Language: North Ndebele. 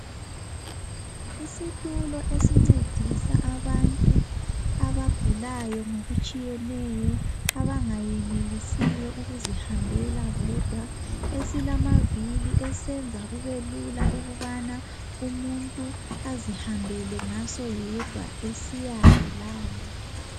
Isitulo esingcedisa abantu abagulayo ngokutshiyeneyo abangenelisiyo ukuzihambela bodwa esilavili esiyenza kube lula ukubana umuntu azihambele ngaso yedwa esiyale lale